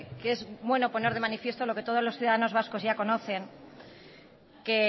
que es bueno poner de manifiesto lo que todos los ciudadanos vascos ya conocen que